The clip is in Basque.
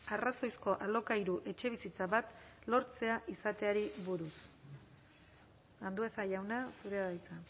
arrazoizko alokairu etxebizitza bat lortzea izateari buruz andueza jauna zurea da hitza